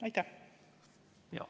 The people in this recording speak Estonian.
Aitäh!